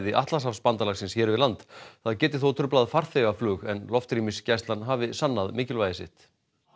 Atlantshafsbandalagsins hér við land það geti þó truflað farþegaflug en loftrýmisgæslan hafi sannað mikilvægi sitt